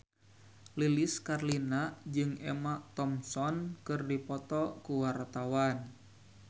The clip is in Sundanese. Lilis Karlina jeung Emma Thompson keur dipoto ku wartawan